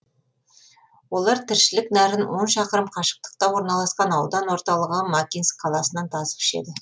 олар тіршілік нәрін он шақырым қашықтықта орналасқан аудан орталығы макинск қаласынан тасып ішеді